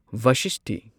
ꯚꯁꯤꯁꯇꯤ